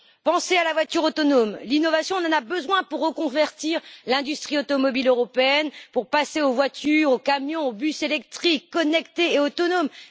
Pensez à la voiture autonome l'innovation, on en a besoin pour reconvertir l'industrie automobile européenne, pour passer aux voitures, aux camions, aux bus électriques, connectés et autonomes.